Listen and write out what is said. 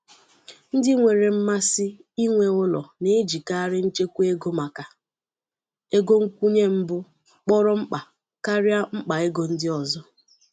Ndi nwere mmasị inwe ụlọ na ejikarị nchekwa ego maka ego nkwụnye mbụ kpọrọ mkpa karịa mkpa ego ndị ọzọ.